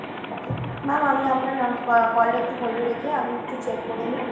ma'am আমি আপনার call টা একটু hold এ রেখে আমি একটু check করে নি।